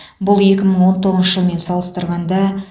бұл екі мың он тоғызыншы жылмен салыстырғанда